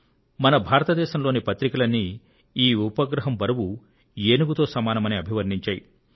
మన భారతదేశంలోని పత్రికలన్నీ ఈ ఉపగ్రహం బరువు ఏనుగుతో సమానమని అభివర్ణించాయి